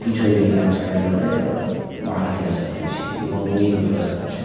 किछो भी काज कए लवे और बाहर जाई सकइ छी बहुत नीक व्यवस्था छे।